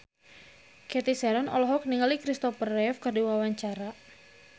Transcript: Cathy Sharon olohok ningali Christopher Reeve keur diwawancara